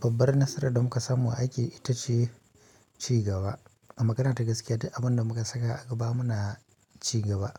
Babbar nasarar da muka samu a aiki ita ce cigaba magana ta gaskiya duk abunda muka saka a gaba muna cigaba.